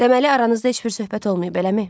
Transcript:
Deməli aranızda heç bir söhbət olmayıb, eləmi?